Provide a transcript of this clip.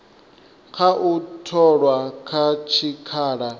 kha u tholwa kha tshikhala